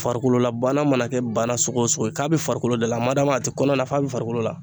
Farikololabana mana kɛ bana sugu o sugu ye k'a be farikolo de la madama a ti kɔnɔ la f'a bɛ farikolo la